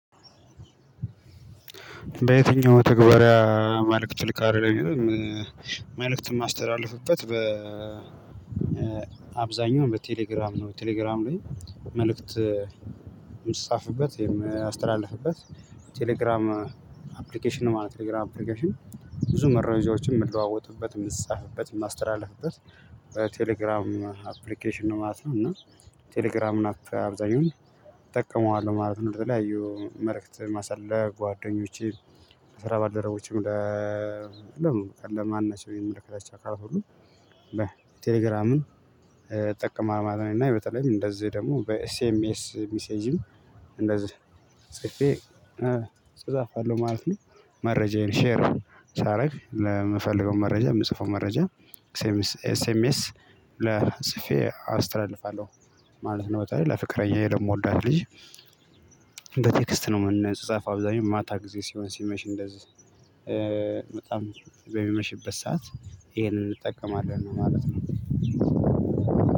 በየትኛው መተግባሪያ መልእክት ትልካለህ ለሚለው? መልእክት የማስተላልፍበት በ አብዛኛው በቴሌግራም ነው ቴሌግራም ላይ መልእክት የሚጻፍበት የሚያስተላልፍበት ቴሌግራም አፕሊኬሽን ማለት ቴሌግራም አፕሊኬሽን ብዙ መረጃዎችን የምለዋወጥበት የምጻጻፍበት የማስተላልፍበት በቴሌግራም አፕሊኬሽን ነው ማለት ነው። እና ቴሌግራም አብዛኛውን እጠቀመዋለሁ ማለት ነው። በተለያዩ መልእክት ማስላክ ለጓደኞቼ ስራ ባልደረቦቼም ለ ለምን ለማን ናቸው የምልክላቸው ካልሆኑ በቴሌግራምን እጠቀማማለን እና የበተለይም እንደዚህ ደግሞ በሲኤምኤስ ሚሴጅም እንደዛ ሰፊ እጻጻፋለሁ ማለት ነው። መረጃዬን ሼር ሳደርግ ለምፈልገው መረጃ የምጽፈው መረጃ ኤስኤምኤስ ለጽፌ አስተላልፋለሁ ማለት ነው። በጣም ለፍቅረኛዬ ደግሞ ለምወዳት ልጅ እንደ ቴክስት ነው የምንጻጻፈው አብዛኛው ማታ ጊዜ ሲሆን ሲመሽ እንደዚህ በጣም በሚመሽበት ሰዓት ይሄንን እንጠቀማለን ነው ማለት ነው።